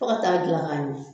To ta kaa dilan k'a ɲɛ